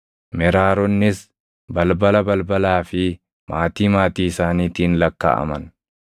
Meraaronnis balbala balbalaa fi maatii maatii isaaniitiin lakkaaʼaman.